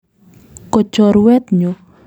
Ko chorwet nyu.